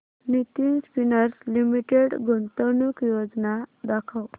Nitin Spinners Limited गुंतवणूक योजना दाखव